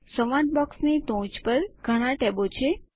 સંવાદ બોક્સની ટોચ ઉપર ઘણા ટેબો છે